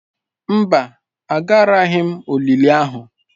Mba, Agaraghị m olili ahụ.